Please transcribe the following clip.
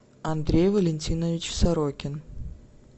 андрей валентинович сорокин